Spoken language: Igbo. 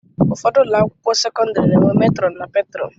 Ụfọdụ ụlọakwụkwọ sekọndịrị na-enwe metrọn na petrọn